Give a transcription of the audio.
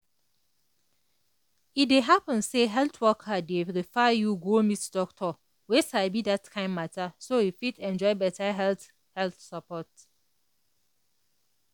e dey happen say health worker dey refer you go meet doctor wey sabi that kind matter so you fit enjoy better health health support.